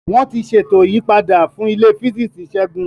Wọ́n ti ṣètò ìyípadà fún ilé Físíìsì Segun.